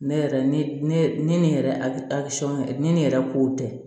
Ne yɛrɛ ne ne ne ni yɛrɛ a ne yɛrɛ ko tɛ